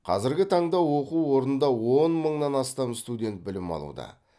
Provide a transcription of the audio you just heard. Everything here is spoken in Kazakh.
қазіргі таңда оқу орнында он мыңнан астам студент білім алуда